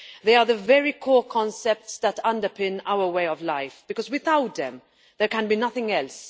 They are the very core concepts that underpin our way of life, because without them, there can be nothing else.